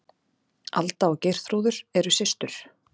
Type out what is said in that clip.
Alda og Geirþrúður, eru systur.